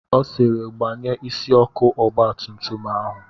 Ọ sịịrị, gbanye isi ọkụ ọgba tum tum ahụ!